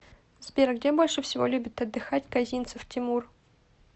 сбер где больше всего любит отдыхать козинцев тимур